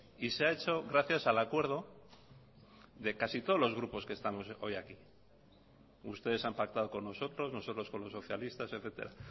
y se ha hecho gracias al acuerdo de casi todos los grupos que estamos hoy aquí ustedes han pactado con nosotros nosotros con los socialistas etcétera